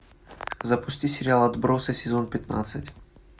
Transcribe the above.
запусти сериал отбросы сезон пятнадцать